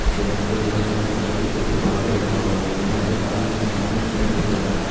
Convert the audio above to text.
यहां पे बहुत सारे बाल्टी के ऊपर बाल्टी रखा हुआ है यहां एक आदमी के हाथ में पेन दिख रहा है।